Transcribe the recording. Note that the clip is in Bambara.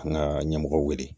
An ka ɲɛmɔgɔw wele